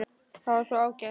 Það er svo ágætt.